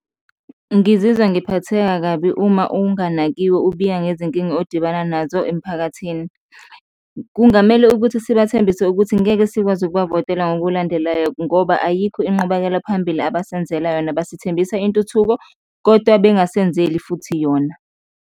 Ngizizwa ngiphatheka kabi uma unganakiwe, ubika ngezinkinga odibana nazo emphakathini. Kungamele ukuthi sibathembise ukuthi ngeke sikwazi ukubavotela ngokulandelayo ngoba ayikho inqubakela phambili abasenzela yona, basithembisa intuthuko kodwa bengasenzeli futhi yona.